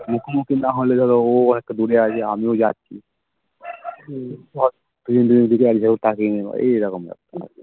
মুখো মুখি না হলে ধর ও একটু দূরে আছে আর আমিও যাচ্ছি দুজন দুজন কে এক ঝলক তাকিয়ে নিলো এই রকম ব্যাপার আর কি